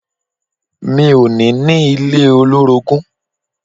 Mi ò ní ní ilé olórogún.